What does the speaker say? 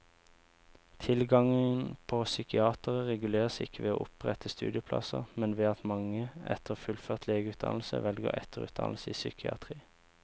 Tilgangen på psykiatere reguleres ikke ved å opprette studieplasser, men ved at mange etter fullført legeutdannelse velger etterutdannelse i psykiatri.